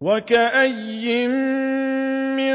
وَكَأَيِّن مِّن